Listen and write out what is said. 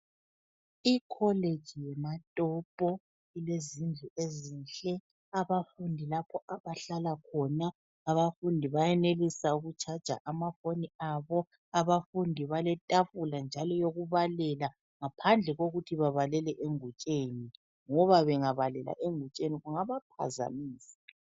Ikholeji yeMatopo ilezindlu ezinhle, abafundi lapho abahlala khona, abafundi bayenelisa ukutshaja amafoni abo, abafundi baletafula njalo eyokubalela ngaphandle kokuthi babalele engutsheni ngoba bengabalela engutsheni kungabaphazamisa.